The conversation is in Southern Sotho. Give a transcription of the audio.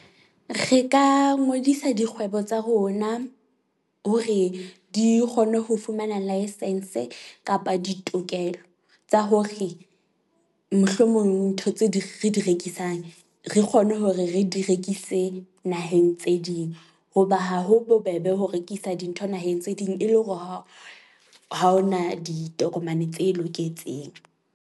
Re ka ngodisa dikgwebo tsa rona hore di kgone ho fumana licence kapa ditokelo. Tsa hore mohlomong ntho di re di rekisang, re kgone hore re di rekise naheng tse ding hoba ha ho bobebe ho rekisa dintho naheng tse ding, e le hore ha o ha hona ditokomane tse loketseng.